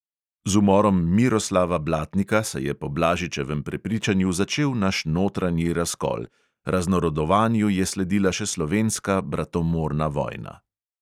Z umorom miroslava blatnika se je po blažičevem prepričanju začel naš notranji razkol, raznarodovanju je sledila še slovenska bratomorna vojna.